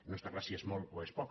no està clar si és molt o és poc